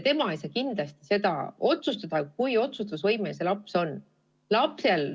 Tema ei saa kindlasti otsustada, kui otsustusvõimeline see laps on.